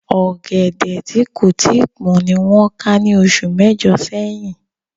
Ọ̀gẹ̀dẹ̀ tí kò tíì pọ́n ni wọ́n ká ní oṣù mẹ́jọ̀ sẹ́yìn